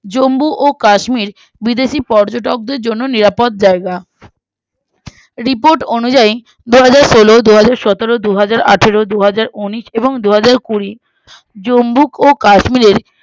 জম্মু ও কাশ্মীর বিদেশি পর্যটকদের জন্য নিরাপদ জায়গা report অনুযায়ী দুহাজারসোলো দুহাজারসতেরো দুহাজারআঠেরো দুহাজারউনিশ এবং দুহাজারকুড়ি জম্মু ও কাশ্মীরের